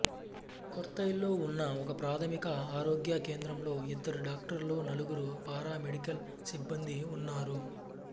కొర్రైలో ఉన్న ఒకప్రాథమిక ఆరోగ్య కేంద్రంలో ఇద్దరు డాక్టర్లు నలుగురు పారామెడికల్ సిబ్బందీ ఉన్నారు